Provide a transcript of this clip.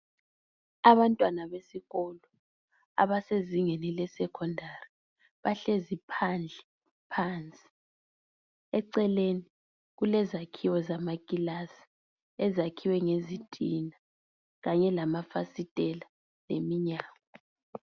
Abantwana besikolo abasezingeni le secondary bahlezi phandle phansi eceleni kulezakhiwo zamakilasi ezakhiwe ngezitina kanye lamafasitela leminyango.